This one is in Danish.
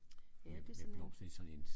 Ja det er sådan en